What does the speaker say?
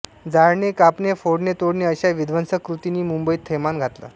जाळणे कापणे फोडणे तोडणे अशा विध्वंसक कृतींनी मुंबईत थैमान घातलं